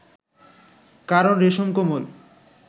কারণ, রেশম কোমল